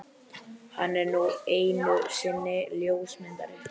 Hann er nú einu sinni ljósmyndari.